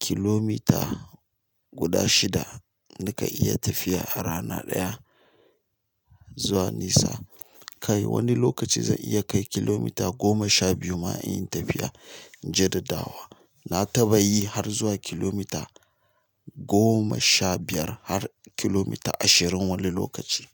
kilomita guda shida nakan iya tafiya a rana ɗaya zuwa nisa. Kai wani lokaci zan iya kai kilomita goma sha biyu ma in yi tafiya jadadawa. Na taɓa yi har zuwa kilomita goma sha biyar har kilomita ashirin wani lokaci.